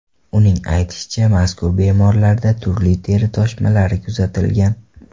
Uning aytishicha, mazkur bemorlarda turli teri toshmalari kuzatilgan.